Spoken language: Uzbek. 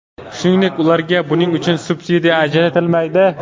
Shuningdek, ularga buning uchun subsidiya ajratilmaydi.